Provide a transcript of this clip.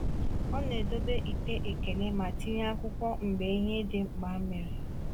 Ọ na-edobe ite ekele ma tinye akwụkwọ mgbe ihe dị mkpa mere.